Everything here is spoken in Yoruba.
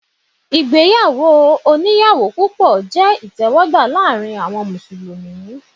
Ìgbéyàwó onìyàwó púpọ̀ jẹ́ ìtẹ́wọ́gbà láàárín àwọn Mùsùlùmí.